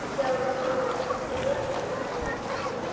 Síðan var okkur ekið öllum fjórum heim í